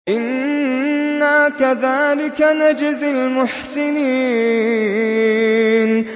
إِنَّا كَذَٰلِكَ نَجْزِي الْمُحْسِنِينَ